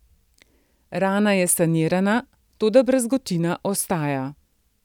Rana je sanirana, toda brazgotina ostaja.